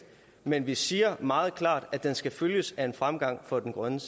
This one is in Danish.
men vi siger meget klart at den skal følges af en fremgang for det grønne